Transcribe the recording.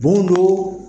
Bondo